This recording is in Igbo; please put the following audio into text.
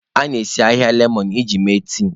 A na-esi ahịhịa lemọn iji mee tii.